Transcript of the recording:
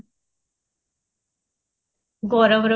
ଗରମ ରେ